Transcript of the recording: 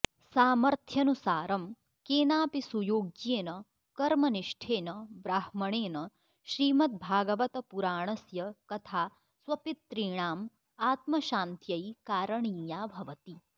सामर्थ्यनुसारं केनापि सुयोग्येन कर्मनिष्ठेन ब्राह्मणेन श्रीमद्भागवतपुराणस्य कथा स्वपितॄणाम् आत्मशान्त्यै कारणीया भवति